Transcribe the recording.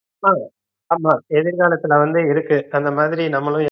அஹ் ஆமா எதிர்காலத்துல வந்து இருக்கு அந்த மாதிரி நாம்மலும்